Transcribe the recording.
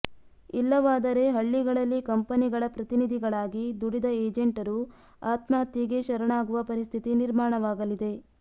ಇಲ್ಲವಾದರೆ ಹಳ್ಳಿಗಳಲ್ಲಿ ಕಂಪನಿಗಳ ಪ್ರತಿನಿಧಿಗಳಾಗಿ ದುಡಿದ ಏಜೆಂಟರು ಆತ್ಮಹತ್ಯೆಗೆ ಶರಣಾಗುವ ಪರಿಸ್ಥಿತಿ ನಿರ್ಮಾಣವಾಗಲಿದೆ